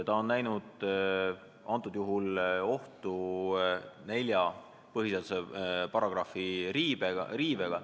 Ta on näinud ohtu, et võib olla tegemist põhiseaduse nelja paragrahvi riivega.